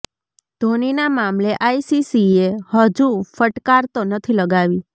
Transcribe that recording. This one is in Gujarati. ધોનીના મામલે આઇસીસીએ હજુ ફટકાર તો નથી લગાવી